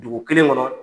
Dugu kelen kɔnɔ